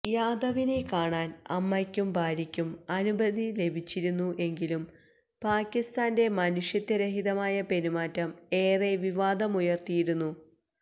യാദവിനെ കാണാന് അമ്മയ്ക്കും ഭാര്യക്കും അനുമതി ലഭിച്ചിരുന്നു എങ്കിലും പാക്കിസ്ഥാന്റെ മനുഷ്യത്വ രഹിതമായ പെരുമാറ്റം ഏറെ വിവാദമുയര്തിയിരുന്നു